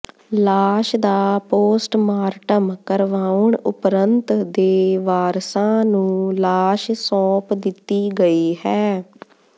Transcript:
ਲਾਸ਼ ਦਾ ਪੋਸਰਮਾਰਟਮ ਕਰਵਾਉਣ ਉਪਰੰਤ ਦੇ ਵਾਰਸਾਂ ਨੂੰ ਲਾਸ਼ ਸੌਪ ਦਿੱਤੀ ਗਈ ਹੈ